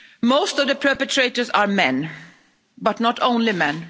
Most of the perpetrators are men, but not only men